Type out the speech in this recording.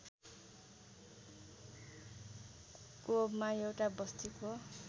कोवमा एउटा बस्तीको